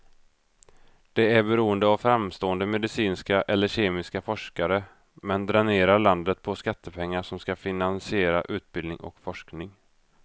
Det är beroende av framstående medicinska eller kemiska forskare, men dränerar landet på skattepengar som ska finansiera utbildning och forskning.